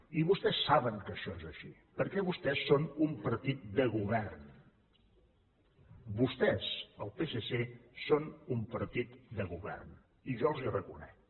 i vostès saben que això és així perquè vostès són un partit de govern vostès el psc són un partit de govern i jo els ho reconec